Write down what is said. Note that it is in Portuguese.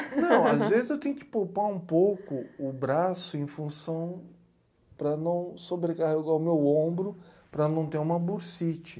Não, às vezes eu tenho que poupar um pouco o braço em função para não sobrecarregar o meu ombro, para não ter uma bursite.